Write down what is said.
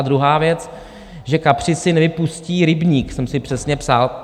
A druhá věc, že kapři si nevypustí rybník, jsem si přesně psal.